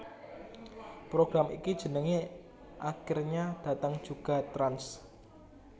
Program iki jenenge Akhirnya Datang Juga Trans